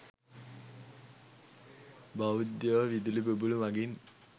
බෞද්ධයො විදුලි බුබුළු මගින්